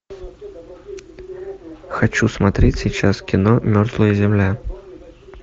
хочу смотреть сейчас кино мертвая земля